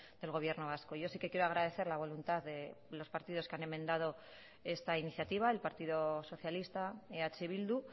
del gobierno vasco yo sí que quiero agradecer la voluntad de los partidos que han enmendado esta iniciativa el partido socialista eh bildu